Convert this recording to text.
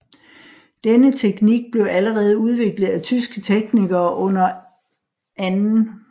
Denne teknik blev allerede udviklet af tyske teknikere under 2